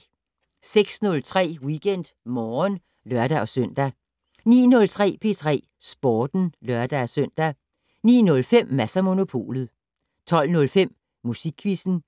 06:03: WeekendMorgen (lør-søn) 09:03: P3 Sporten (lør-søn) 09:05: Mads & Monopolet 12:05: Musikquizzen